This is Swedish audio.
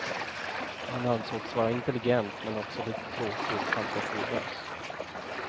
Han ansågs vara intelligent men också lite tråkig och fantasilös.